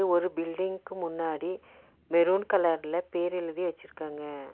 ஒரு பில்டிங்க்கு முன்னாடி மெருன் கலர்ல பேர் எழுதி வெச்சிருக்காங்க.